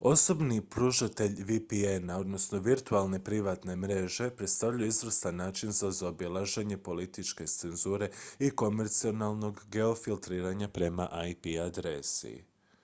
osobni pružatelji vpn-a virtualne privatne mreže predstavljaju izvrstan način za zaobilaženje političke cenzure i komercijalnog geofiltriranja prema ip adresi